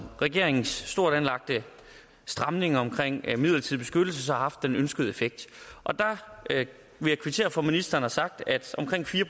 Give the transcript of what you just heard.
regeringens stort anlagte stramning omkring midlertidig beskyttelse så har haft den ønskede effekt og der vil jeg kvittere for at ministeren har sagt at omkring fire